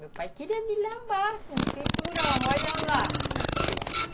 Meu pai queria me lambar com o cinturão, olha lá.